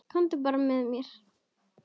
Komdu bara með mér.